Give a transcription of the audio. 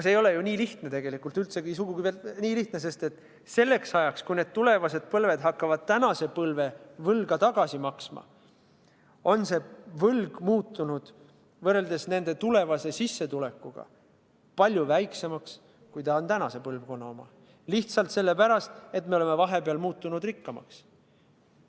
See ei ole ju tegelikult nii lihtne, üldsegi mitte nii lihtne, sest selleks ajaks, kui tulevased põlved hakkavad tänase põlve võlga tagasi maksma, on see võlg muutunud nende tulevase sissetulekuga võrreldes palju väiksemaks, kui see on tänase põlvkonna puhul – lihtsalt sellepärast, et me oleme vahepeal saanud rikkamaks.